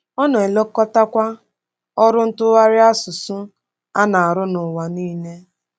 Ọ na-elekọtakwa ọrụ ntụgharị asụsụ a na-arụ n’ụwa nile.